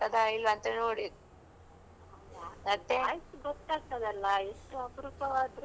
Voice ಗೊತ್ತಾಗ್ತದಲ್ಲಾ ಎಷ್ಟು ಅಪರೂಪವಾದ್ರೂ voice ಕೇಳಿ ಕೇಳಿ ಇರ್ತದಲ್ಲಾ.